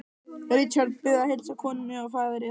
Richard Bið að heilsa konunni og faðir yðar.